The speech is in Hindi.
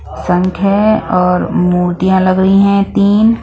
संख है और मोतियाँ लग रही हैं तीन --